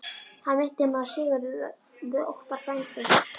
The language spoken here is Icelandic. Hann minnti mig á að Sigurður Óttar, frændi